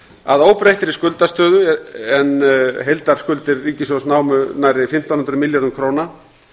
að óbreyttri skuldastöðu en heildarskuldir ríkissjóðs námu nærri fimmtán hundruð milljörðum króna